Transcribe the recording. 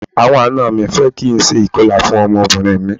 Àwọn àna mi fẹ́ kí n ṣe ìkọlà fún ọmọbìnrin mi.